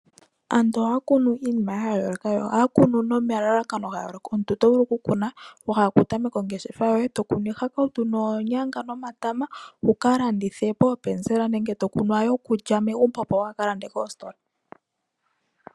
Aantu ohaya kunu iinima ya yooloka, nohaya kunu nomalalakano ga yooloka. Omuntu oto vulu okukuna, wa hala okutameka ongeshefa yoye, to kunu iihakautu, oonyanga, nomatama, wu ka landithe poopenzela, nenge to kunu yokulya yomegumbo, opo waa ka lande koositola.